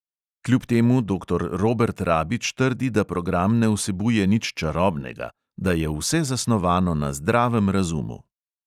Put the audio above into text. Kljub temu doktor robert rabič trdi, da program ne vsebuje nič čarobnega, da je vse zasnovano na zdravem razumu.